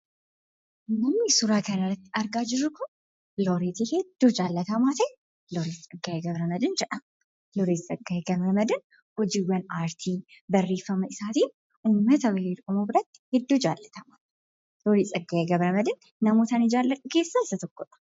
Namni suuraa kana irratti argaa jirru kun Looreetii baay'ee jaallatamaa ta'e Looreet Tsaggaayee Gabramedihiin jedhama. Looreet Tsaggaayee Gabramedihiin hojiiwwan aartii, barreeffama isaatin uummata Oromoo biratti baay'ee jaallatamaa ta'edha. Looret Tsaggaayee Gabramedihiin namoota an jaalladhu keessaa isa tokkodha.